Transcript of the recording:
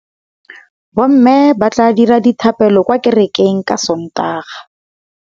Bommê ba tla dira dithapêlô kwa kerekeng ka Sontaga.